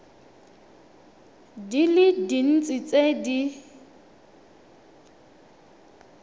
di le dintsi tse di